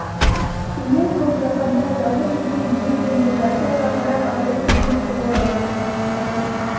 биік көк жапанда жалғыз жүзген жүдеу реңді жарты айға қарап абай күрсініп қояды